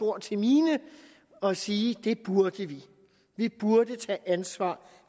ord til mine og sige at det burde vi vi burde tage ansvar